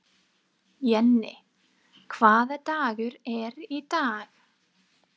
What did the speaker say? Jenni, hvaða dagur er í dag?